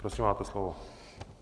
Prosím, máte slovo.